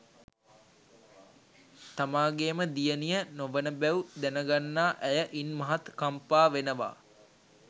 තමාගේම දියණිය නොවන බැව් දැනගන්නා ඇය ඉන් මහත් කම්පා ‍වෙනවා.